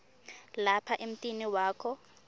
lapha emtini wakho